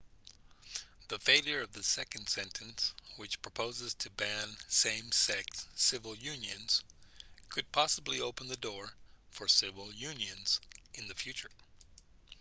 the failure of the second sentence which proposes to ban same-sex civil unions could possibly open the door for civil unions in the future